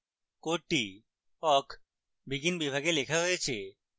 code awk begin বিভাগে লেখা হয়েছে